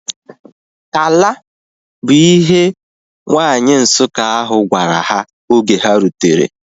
"Ala" bu ihe nwanyi Nsukka ahu gwara ha oge ha rutere